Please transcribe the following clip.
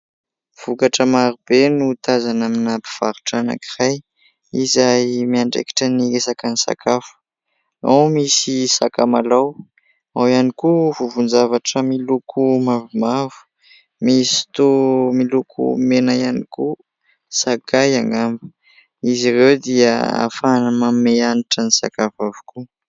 Vokatra maro be no tazana amina mpivarotra anankiray izay miandraikitra ny resaka ny sakafo. Ao misy sakamalao, ao ihany koa vovo-javatra miloko mavomavo misy toa miloko mena ihany koa sakay angamba ; izy ireo dia ahafahana manome hanitra ny sakafo avokoa.